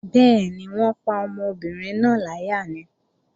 Bẹ́ẹ̀ni, wọ́n pa ọmọbìnrin náà láyà ni